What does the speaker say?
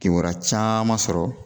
Kibaruya caman sɔrɔ